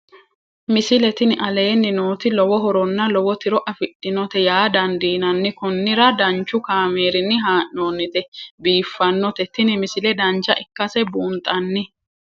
misile tini aleenni nooti lowo horonna lowo tiro afidhinote yaa dandiinanni konnira danchu kaameerinni haa'noonnite biiffannote tini misile dancha ikkase buunxanni